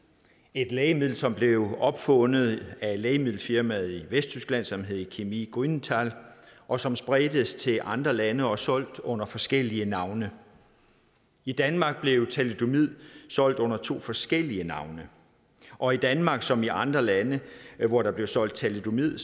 et lægemiddel som blev opfundet af et lægemiddelfirma i vesttyskland som hed chemie grünenthal og som spredtes til andre lande og blev solgt under forskellige navne i danmark blev thalidomid solgt under to forskellige navne og i danmark som i andre lande hvor der blev solgt thalidomid